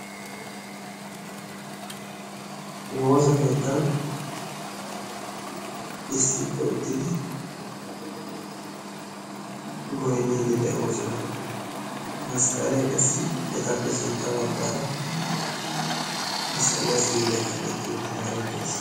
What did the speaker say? woosa keettan issippe uttidi goynniiddi de'oosona, masqqalee qassi etappe sintta baggaara masqqaliya si'ileeka denddi uttidaage de'ees.